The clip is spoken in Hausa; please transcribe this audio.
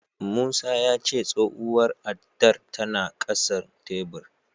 Musa ya ce tsohuwar addar tana ƙasan tebur.